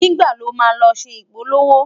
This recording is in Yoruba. nígbà ló má ló ṣé ipolowo?